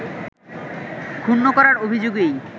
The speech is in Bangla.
ক্ষুন্ন করার অভিযোগেই